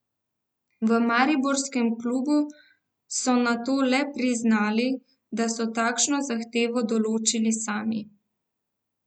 V mariborskem klubu so nato le priznali, da so takšno zahtevo določili sami.